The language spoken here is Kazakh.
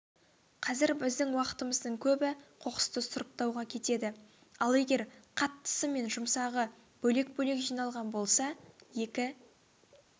қазір біздің уақытымыздың көбі қоқысты сұрыптауға кетеді ал егер қаттысы мен жұмсағы бөлек-бөлек жиналған болса екі